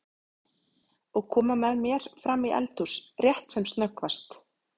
Og koma með mér fram í eldhús rétt sem snöggvast?